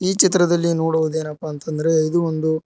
ಈ ಚಿತ್ರದಲ್ಲಿ ನೋಡುವುದು ಏನಪ್ಪ ಅಂತ್ ಅಂದ್ರೆ ಇದು ಒಂದು--